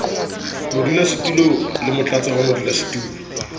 modulasetulo le motlatsi wa modulasetulo